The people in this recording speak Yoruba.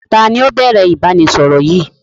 Taàní ó bẹ̀rẹ̀ ìbánisọọ̀rọ̀ yìí?